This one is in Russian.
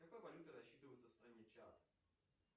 какой валютой рассчитываются в стране чад